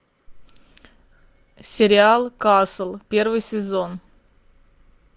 сериал касл первый сезон